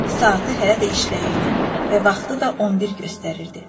Saatı hələ də işləyirdi və vaxtı da 11 göstərirdi.